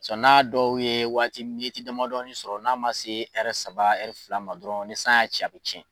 Sɔn n'a dɔw ye waati ni miniti damadɔni sɔrɔ n'a ma se ɛrɛ saba ɛri fila ma dɔrɔn ni san y'a ci a be cɛn